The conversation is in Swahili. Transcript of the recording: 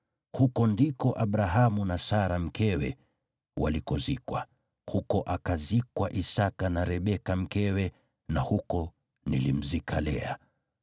Huko ndiko Abrahamu na Sara mkewe walikozikwa, huko akazikwa Isaki na Rebeka mkewe, na huko nilimzika Lea.